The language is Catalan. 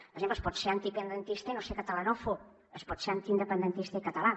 per exemple es pot ser antiindependentista i no ser catalanòfob es pot ser antiindependentista i català